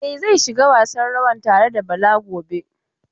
E, zai shiga gasan rawan tare da Bala gobe.